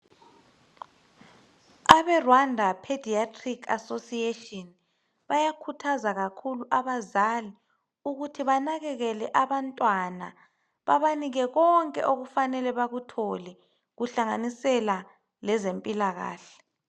Abe Rwanda Paediatric Association bayakhuthaza kakhulu abazali ukuthi banakekele abantwana babanike konke okufanele bakuthole kuhlanganisela lezempilakahle.